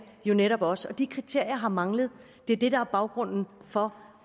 jo netop også de kriterier har manglet og det er det der er baggrunden for